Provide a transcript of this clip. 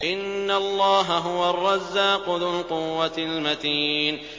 إِنَّ اللَّهَ هُوَ الرَّزَّاقُ ذُو الْقُوَّةِ الْمَتِينُ